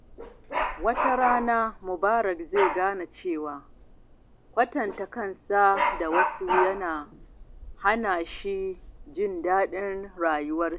Wata rana, Mubarak zai gane cewa kwatanta kansa da wasu yana hana shi jin daɗin rayuwa.